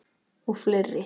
Og fleiri